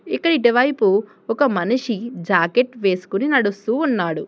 ఇక్కడ ఇటు వైపు ఒక మనిషి జాకెట్ వేసుకుని నడుస్తూ ఉన్నాడు.